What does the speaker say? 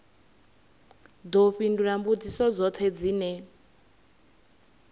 ḓo fhindula mbudziso dzoṱhe dzine